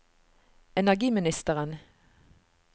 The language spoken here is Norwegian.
energiministeren